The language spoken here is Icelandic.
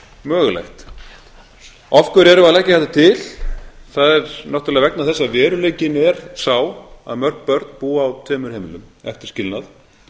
mögulegt af hverju erum við að leggja þetta til það er náttúrlega vegna þess að veruleikinn er sá mörg börn búa á tveimur heimilum eftir skilnað